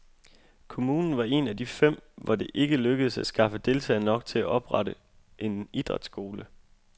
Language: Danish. Kommunen var en af de fem, hvor det ikke lykkedes at skaffe deltagere nok til at oprette en idrætsskole.